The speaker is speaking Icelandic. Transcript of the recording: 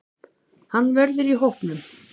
Hann verður í hópnum.